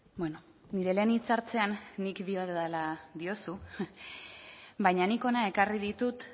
bueno nire lehen hitzartzean nik diodala diozu baina nik hona ekarri ditut